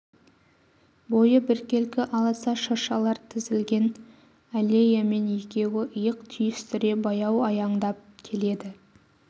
бойы біркелкі аласа шыршалар тізілген аллеямен екеуі иық түйістіре баяу аяңдап келеді